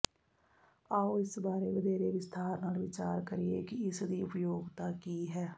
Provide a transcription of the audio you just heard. ਆਓ ਇਸ ਬਾਰੇ ਵਧੇਰੇ ਵਿਸਥਾਰ ਨਾਲ ਵਿਚਾਰ ਕਰੀਏ ਕਿ ਇਸ ਦੀ ਉਪਯੋਗਤਾ ਕੀ ਹੈ